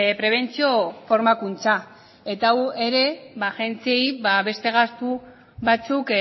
prebentzio formakuntza eta hau ere agentziei beste gastu batzuk